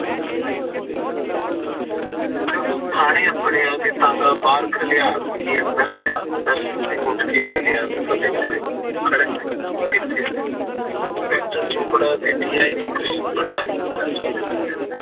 ਤੂੰ ਥਾਣੇ ਆ ਟਾਂਗੇ ਬਾਹਰ ਖਿਲਾਰ ਕੇ ਅੰਦਰ ਆ ਦਰਸ਼ਨ ਸਿੰਘ ਉੱਠ ਕੇ ਮਿਲਿਆ ਫਤਿਹ ਬੁਲਾਈ ਖੜਕ ਸਿੰਘ ਕਿੱਥੇ ਸੀ inspector ਚੋਪੜਾ DIG ਕ੍ਰਿਸ਼ਨ ਭੰਡਾਰੀ ਮਿਲਣਾ ਚਾਹੁੰਦੇ ਸੀ ਤੈਨੂੰ